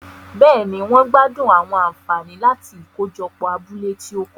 Béèni, wón gbádùn àwọn ànfàní láti ikojopo abúlé ti o kọjá